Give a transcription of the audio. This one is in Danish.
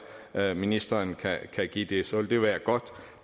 at ministeren kan give det så ville det være godt